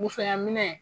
Musoyaminɛn